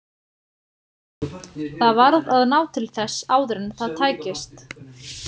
Það varð að ná til þess áður en það tækist.